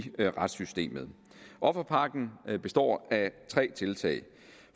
retssystemet offerpakken består af tre tiltag